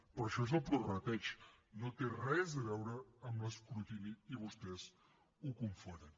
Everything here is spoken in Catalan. però això és el prorrateig no té res a veure amb l’escrutini i vostès ho confonen